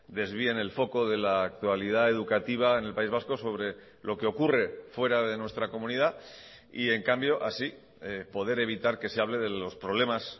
desvíen el foco de la actualidad educativa en el país vasco sobre lo que ocurre fuera de nuestra comunidad y en cambio así poder evitar que se hable de los problemas